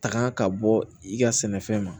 Taga ka bɔ i ka sɛnɛfɛn ma